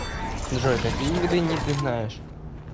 джой какие виды ни ты знаешь